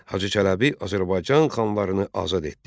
Hacı Çələbi Azərbaycan xanlarını azad etdi.